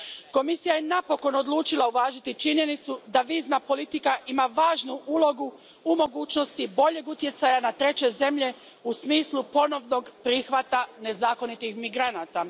Komisija je napokon odlučila uvažiti činjenicu da vizna politika ima važnu ulogu u mogućnosti boljeg utjecaja na treće zemlje u smislu ponovnog prihvata nezakonitih migranata.